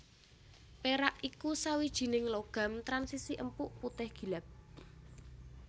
Pérak iku sawijining logam transisi empuk putih gilap